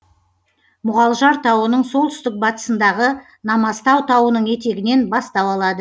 мұғалжар тауының солтүстік батысындағы намазтау тауының етегінен бастау алады